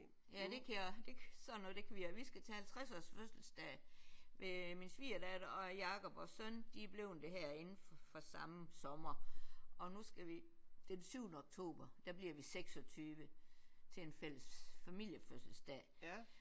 Ja det kan jeg også sådan noget kan vi også. Vi skal til halvtredsårs fødselsdag ved min svigerdatter og Jakob og søn de er bleven det her inden for samme sommer og nu skal vi den syvende oktober der bliver vi 26 til en fælles familiefødselsdag